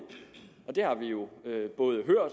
det har vi jo hørt